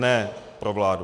Ne pro vládu.